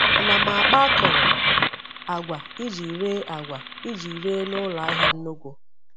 Ana m akpa akọrọ agwa iji ree agwa iji ree n’ụlọ ahịa nnukwu.